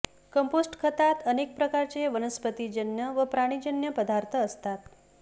compost खतात अनेक प्रकारचे वनस्पतीजन्य व प्राणीजन्य पदार्थ असतात